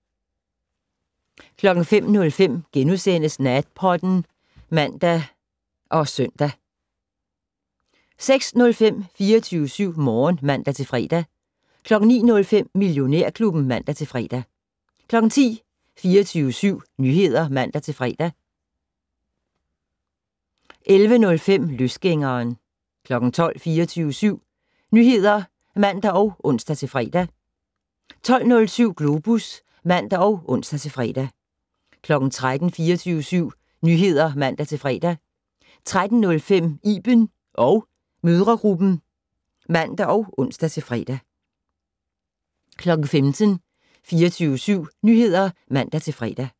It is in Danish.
05:05: Natpodden *(man og -søn) 06:05: 24syv Morgen (man-fre) 09:05: Millionærklubben (man-fre) 10:00: 24syv Nyheder (man-fre) 10:05: Løsgængeren 12:00: 24syv Nyheder (man og ons-fre) 12:07: Globus (man og ons-fre) 13:00: 24syv Nyheder (man-fre) 13:05: Iben & mødregruppen (man og ons-fre) 15:00: 24syv Nyheder (man-fre)